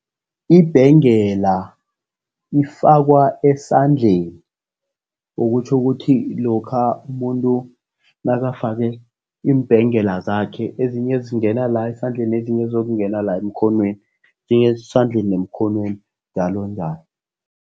Ibhengela ifakwa esandleni, okutjho ukuthi lokha umuntu nakafake iimbhengela zakhe, ezinye ezingena la esandleni, ezinye zizokungena la emkhonweni, esandleni nemkhonweni, njalonjalo.